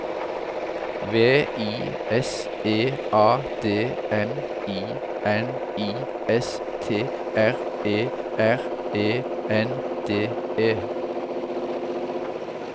V I S E A D M I N I S T R E R E N D E